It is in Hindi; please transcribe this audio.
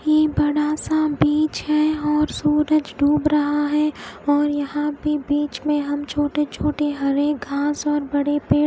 ये एक बड़ा सा बिच है और सूरज डूब रहा है और यहा पे बिच में हम छोटे छोटे हरे घास और बड पेड़--